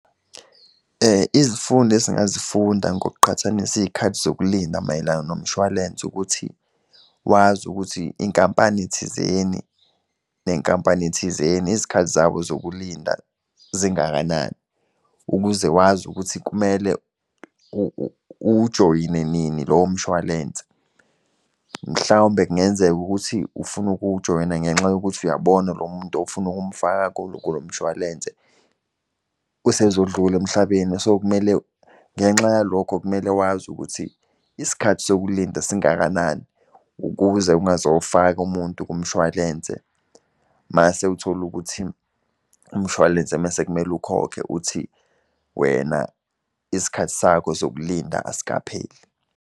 Izifundo esingazifunda ngokuqhathanisa izikhathi zokulinda mayelana nomshwalense, ukuthi wazi ukuthi inkampani thizeni nenkampani thizeni, izikhathi zabo zokulinda zingakanani. Ukuze wazi ukuthi kumele uwujoyine nini lowo mshwalense. Mhlawumbe kungenzeka ukuthi ufuna ukuwujoyina ngenxa yokuthi uyabona lo muntu ofuna ukumfaka kulo mshwalense usezodlula emhlabeni. So kumele ngenxa yalokho kumele wazi ukuthi isikhathi sokulinda singakanani, ukuze ungazofaka umuntu kumshwalense mase uthole ukuthi umshwalense mese kumele ukhokhe uthi wena isikhathi sakho sokulinda, asikapheli.